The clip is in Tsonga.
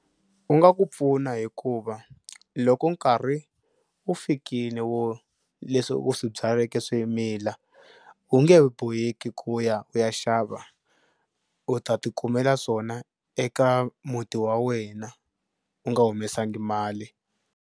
U nga ku pfuna hikuva loko nkarhi wu fikile wo leswi u swi byaleke swi mila u nge he boheki ku ya u ya xava u ta ti kumela swona eka muti wa wena u nga humesangi mali.